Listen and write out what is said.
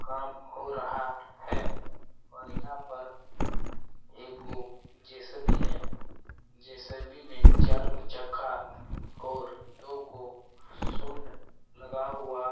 काम हो रहा है और यहाँ पर एगो जे.सी.बी. है जे.सी.बी. मे चार गो चक्का और दो गो सूंड लगा हुआ--